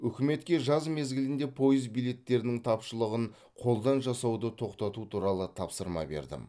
үкіметке жаз мезгілінде пойыз билеттерінің тапшылығын қолдан жасауды тоқтату туралы тапсырма бердім